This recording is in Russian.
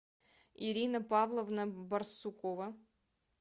ирина павловна барсукова